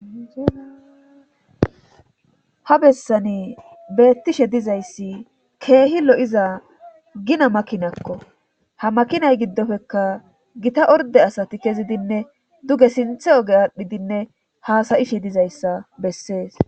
ha bessani beettishe dizayssi keehi lo7iza gina makinakko ha makinay giddofekka gita orde asati kezidinne duge sinthe oge aadhdhidinne haasayishe dizayssa bessees